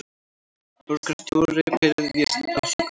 Borgarstjóri biðjist afsökunar